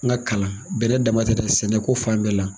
N ka kalan bɛrɛ dama tɛ dɛ sɛnɛko fan bɛɛ la.